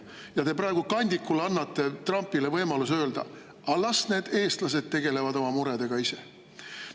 Te annate praegu kandikul Trumpile võimaluse öelda: "Aga las need eestlased tegelevad oma muredega ise.